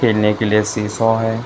खेलने के लिए शीशो है।